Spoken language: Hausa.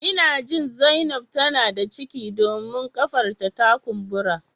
Ina jin zainab tana da ciki domin kafar ta ta kumbura